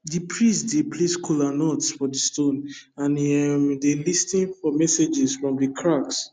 the priest dey place kola nuts for the stone and he um dey lis ten for messages for the cracks